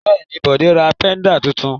Bẹ́ẹ̀ ni, Bọ̀dé ra pẹ́dà tuntun.